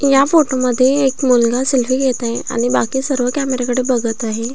या फोटो मध्ये एक मुलगा सेल्फी घेत आहे आणि बाकी सर्व कॅमेऱ्या कडे बघत आहेत.